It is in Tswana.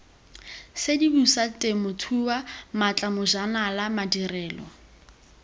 sedimosa temothuo maatla bojanala madirelo